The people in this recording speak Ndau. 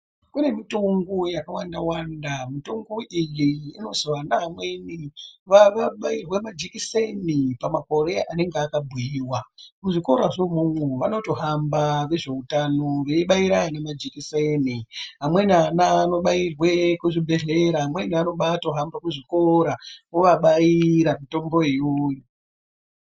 Kune mitombo yaka wanda wanda mitombo iyi inozi ana amweni vabairwe majekiseni pamakore anenge aka buyiwa ku zvikora zvo mwomwo vanoto hamba ve zveutano veibaire anhu ma jekiseni amweni ana ano bairwa ku zvibhedhlera amweni anoobai hamba ku zvikora ovabaira mutombo iyoyo.